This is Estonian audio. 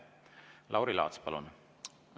Lauri Laats, palun!